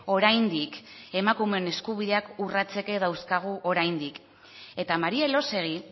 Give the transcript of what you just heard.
oraindik emakumeen eskubideak urratzeke dauzkagu oraindik eta maría elósegui